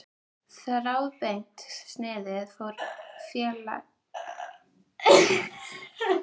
Þráðbeint sniðið fór félaga hennar mun betur.